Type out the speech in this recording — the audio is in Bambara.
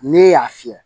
Ne y'a fiyɛ